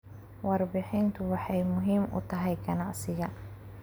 Warbixintu waxay muhiim u tahay ganacsiga.